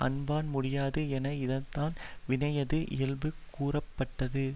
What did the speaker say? அன்பான் முடியாது என இதனான் வினையினது இயல்பு கூறப்பட்டது